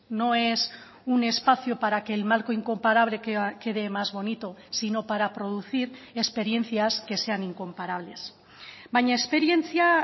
no es un espacio para que el marco incomparable quede más bonito sino para producir experiencias que sean incomparables baina esperientzia